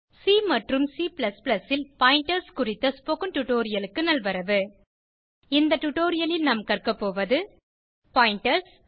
C மற்றும் C ல் pointers குறித்த ஸ்போகன் டுடோரியலுக்கு நல்வரவு இந்த டுடோரியலில் நாம் கற்கபோவது பாயிண்டர்ஸ்